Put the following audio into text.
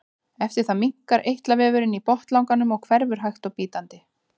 eftir það minnkar eitlavefurinn í botnlanganum og hverfur hægt og bítandi